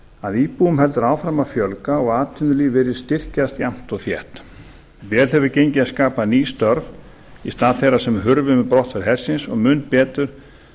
að íbúum heldur áfram að fjölga og atvinnulíf virðist styrkjast jafnt og þétt vel hefur gengið að skapa ný störf í stað þeirra sem hurfu með brottför hersins og mun betur